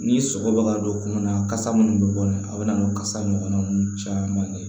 Ni sɔgɔ bɛ ka don kungolo la kasa minnu bɛ bɔ nin a bɛ na n'o kasa ɲɔgɔnna ninnu caman ye